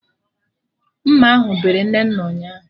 Mma ahụ bere Nnenna ụnyaahụ